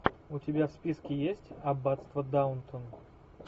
у тебя в списке есть аббатство даунтон